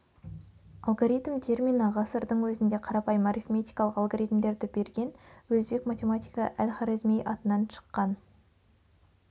алгоритм термині ғасырдың өзінде қарапайым арифметикалық алгоритмдерді берген өзбек математигі әл-хорезми атынан шыққан